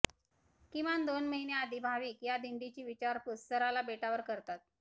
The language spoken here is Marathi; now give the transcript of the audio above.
किमान दोन महिने आधी भाविक या दिंडीची विचारपूस सराला बेटावर करतात